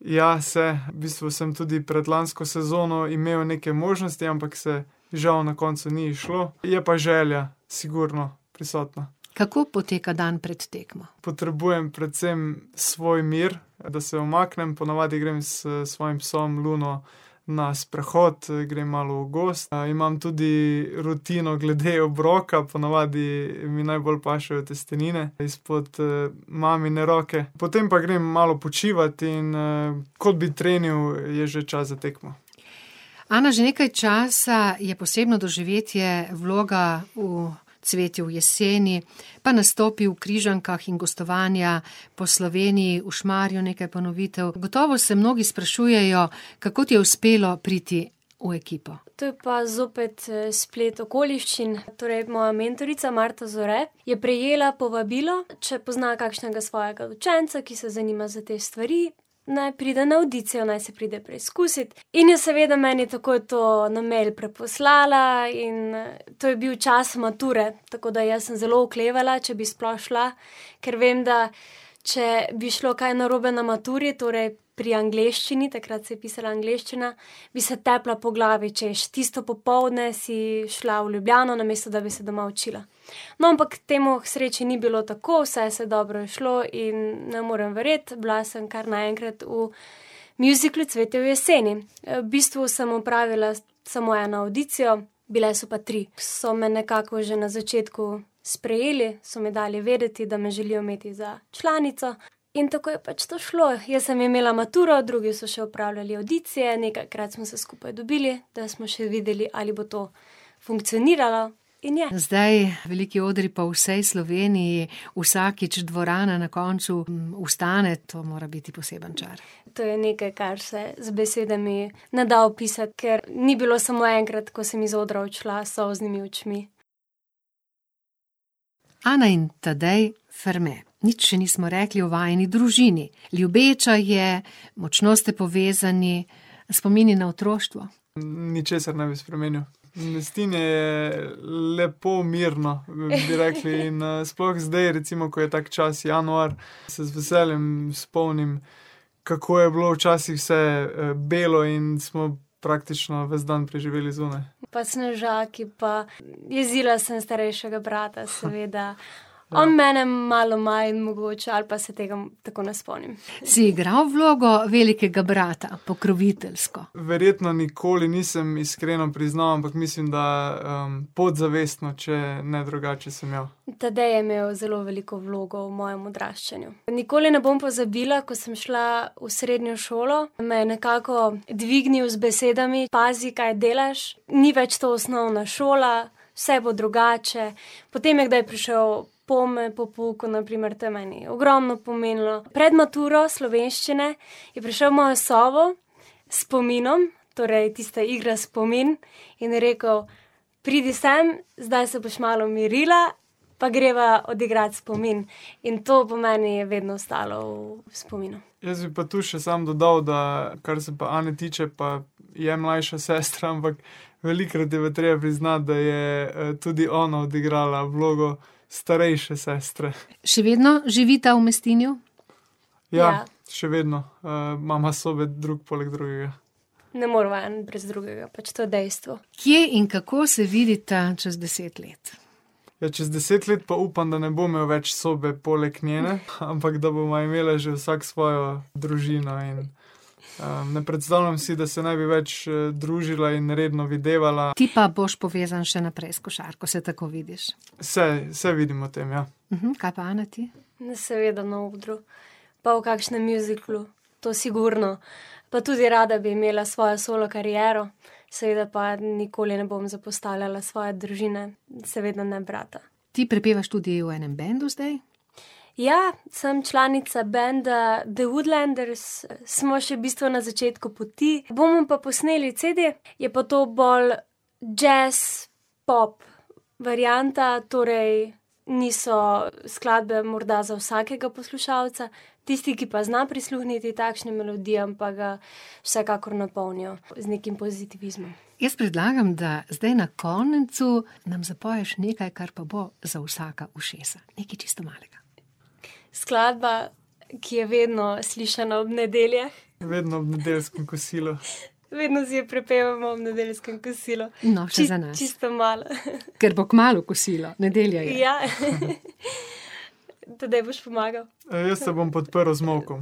Ja, se, v bistvu sem tudi predlansko sezono imel neke možnosti, ampak se žal na koncu ni izšlo. Je pa želja sigurno prisotna. Kako poteka dan pred tekmo? Potrebujem predvsem svoj mir, da se umaknem, ponavadi grem s svojim psom, Luno, na sprehod in grem malo v gozd, imam tudi rutino glede obroka, ponavadi mi najbolj pašejo testenine izpod, mamine roke, potem pa grem malo počivat in, kot bi trenil, je že čas za tekmo. Ana, že nekaj časa je posebno doživetje vloga v Cvetju v jeseni pa nastopi v Križankah in gostovanja po Sloveniji, v Šmarju nekaj ponovitev, gotovo se mnogi sprašujejo, kako ti je uspelo priti v ekipo. To je pa zopet, splet okoliščin, torej moja mentorica, Marta Zore, je prejela povabilo, če pozna kakšnega svojega učenca, ki se zanima za te stvari, naj pride na avdicijo, naj se pride preizkusit. In je seveda meni takoj to na mail preposlala in to je bil čas mature, tako da jaz sem zelo oklevala, če bi sploh šla, ker vem, da če bi šlo kaj narobe na maturi, torej pri angleščini, takrat se je pisala angleščina, bi se tepla po glavi, češ, tisto popoldne si šla v Ljubljano, namesto da bi se doma učila. No, ampak temu k sreči ni bilo tako, vse se je dobro izšlo in ne morem verjeti, bila sem kar naenkrat v mjuziklu Cvetje v jeseni. v bistvu sem opravila samo eno avdicijo, bile so pa tri. So me nekako že na začetku sprejeli, so mi dali vedeti, da me želijo imeti za članico, in tako je pač to šlo. Jaz sem imela maturo, drugi so še opravljali avdicije, nekajkrat smo se skupaj dobili, da smo še videli, ali bo to funkcioniralo. In je. Zdaj veliki odri po vsej Sloveniji, vsakič dvorana na koncu vstane, to mora biti poseben čar. To je nekaj, kar se z besedami ne da opisati, ker ni bilo samo enkrat, ko sem iz odra odšla s solznimi očmi. Ana in Tadej Ferme. Nič še nismo rekli o vajini družini. Ljubeča je, močno ste povezani. Spomini na otroštvo? Ničesar ne bi spremenil. Mestinje je lepo, mirno, bi rekli, in sploh zdaj, ko je tako čas, januar, se z veseljem spomnim, kako je bilo včasih vse, belo in smo praktično ves dan preživljali zunaj. Pa snežaki pa ... Jezila sem starejšega brata, seveda, on mene malo manj mogoče ali pa se tega tako ne spomnim. Si igral vlogo velikega brata, pokroviteljsko? Verjetno nikoli nisem iskreno priznal, ampak mislim, da, podzavestno, če ne drugače, sem imel. Tadej je imel zelo veliko vlogo v mojem odraščanju. Nikoli ne bom pozabila, ko sem šla v srednjo šolo, me je nekako dvignil z besedami: "Pazi, kaj delaš, ni več to osnovna šola, vse bo drugače." Potem je kdaj prišel pome po pouku, na primer, to je meni ogromno pomenilo. Pred maturo slovenščine je prišel v mojo sobo s spominom, torej, tista igra spomin, in rekel: "Pridi sem, zdaj se boš malo umirila, pa greva odigrat spomin." In to meni vedno ostalo v spominu. Jaz bi pa tu še samo dodal, da kar se pa Ane tiče, pa je mlajša sestra, ampak velikokrat je pa treba priznati, da je, tudi ona odigrala vlogo starejše sestre. Še vedno živita v Mestinju? Ja. Ja. Še vedno. imava sobe drug poleg drugega. Ne moreva en brez drugega, pač to je dejstvo. Kje in kako se vidita čez deset let? Ja, čez deset let pa upam, da ne bom imel več sobe poleg njene, ampak da bova imela že vsak svojo družino in, ne predstavljam si, da se ne bi več, družila in redno videvala. Ti pa boš povezan še naprej s košarko, se tako vidiš? Se, se vidim v tem, ja. kaj pa Ena, ti? Seveda na odru pa v kakšnem mjuziklu. To sigurno. Pa tudi rada bi imela svojo solo kariero. Seveda pa nikoli ne bom zapostavljala svoje družine, seveda ne brata. Ti prepevaš tudi v enem bendu zdaj? Ja, samo članica menda The Woodlanders, smo še v bistvu na začetku poti, bomo pa posneli CD, je pa to bolj jazz, pop varianta, torej niso skladbe morda za vsakega poslušalca, tisti, ki pa zna prisluhniti takšnim melodijam, pa ga vsekakor napolnijo z nekim pozitivizmom. Jaz predlagam, da zdaj na koncu nam zapoješ nekaj, kar pa bo za vsaka ušesa, nekaj čisto malega. Skladba, ki je vedno slišana ob nedeljah. Vedno ob nedeljskem kosilu. Vedno si jo prepevamo ob nedeljskem kosilu. No, še za nas. čisto malo, Kar bo kmalu kosilo. Nedelja je. Ja, Tadej, boš pomagal. jaz te bom podprl z molkom.